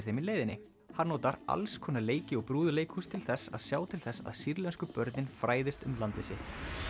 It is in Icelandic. þeim í leiðinni hann notar alls konar leiki og brúðuleikhús til þess að sjá til þess að sýrlensku börnin fræðist um landið sitt